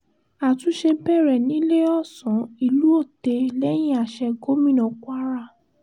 àtúnṣe bẹ̀rẹ̀ níléèọ̀sán ìlú otte lẹ́yìn àsè gómìnà kwara